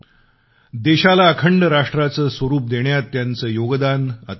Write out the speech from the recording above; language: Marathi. देशाला अखंड राष्ट्राचं स्वरूप देण्यात त्यांचं योगदान अतुलनीय आहे